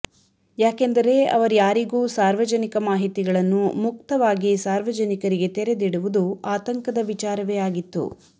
ಯಾಕೆಂದರೆ ಅವರ್ಯಾರಿಗೂ ಸಾರ್ವಜನಿಕ ಮಾಹಿತಿಗಳನ್ನು ಮುಕ್ತವಾಗಿ ಸಾರ್ವಜನಿಕರಿಗೆ ತೆರೆದಿಡುವುದು ಆತಂಕದ ವಿಚಾರವೇ ಆಗಿತ್ತು